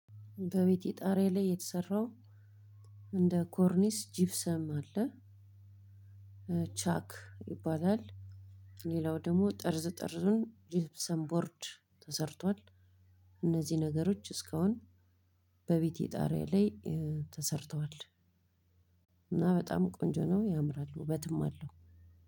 በቤቴ ጣሪያ ላይ የተሰራው እንደ ኮርኒስ ጂፕሰም አለ። ቻክ ይባላል። ሌላው ደግሞ ጠርዝ ጠርዙን ጂብሰም ቦርድ ተሰርቷል። እነዚህ ነገሮቺ እስካሁን በቤቴ ጣሪያ ላይ ተሰርተዋል። እና በጣም ቆንጆ ነው ያምራል ውበትም አለው።